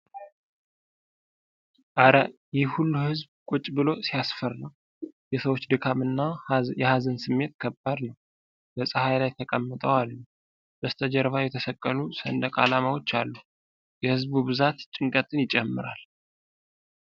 እረ! ይህ ብዙ ሕዝብ ቁጭ ብሎ ሲያስፈራ! የሰዎቹ የድካም እና የሀዘን ስሜት ከባድ ነው። በፀሀይ ላይ ተቀምጠው አሉ ። በስተጀርባ የተሰቀሉ ሰንደቅ ዓላማዎች አሉ ። የሕዝቡ ብዛት ጭንቀትን ይጨምራል።